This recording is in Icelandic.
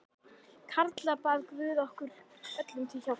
Karla bað guð okkur öllum til hjálpar.